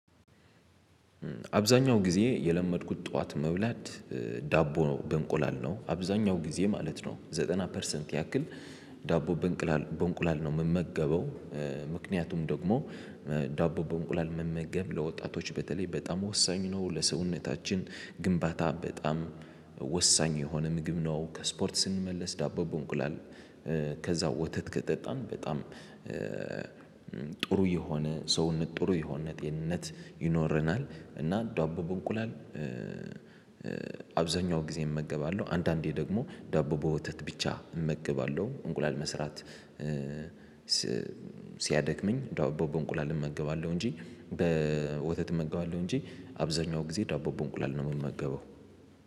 አብዛኛውን ጊዜ የለመድኩት ጠዋት መብላት ዳቦ ነው፣ በእንቁላል ነው፤ አብዛኛውን ጊዜ ማለት ነው ዘጠና ፐርሰንት ያህል ዳቦ በእንቁላል ነው የምመገበው። ምክንያቱም ደግሞ ዳቦ በእንቁላል መመገብ ለወጣቶች በተለይ በጣም ወሳኝ ነው፤ ለሰውነታችን ግንባታ በጣም ወሳኝ የሆነ ምግብ ነው፤ ከስፖርት ስንመለስ ዳቦ በእንቁላል ከዚያ ወተት ከጠጣን በጣም ጥሩ የሆነ ሰውነት፣ ጥሩ የሆነ ጤንነት ይኖረናል፤ እና ዳቦ በእንቁላል አብዛኛውን ጊዜ እመገባለሁ፤ አንዳንዴ ደግሞ ዳቦ በወተት ብቻ እመገባለሁ፣ እንቁላል መስራት ሲያደክመኝ ዳቦ በእንቁላል እመገባለሁ እንጂ በወተት እመገባለሁ እንጂ፣ አብዛኛውን ጊዜ ዳቦ በእንቁላል ነው የምመገበው።